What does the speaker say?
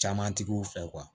Camantigiw fɛ